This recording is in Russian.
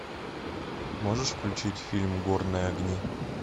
можешь включить фильм горные огни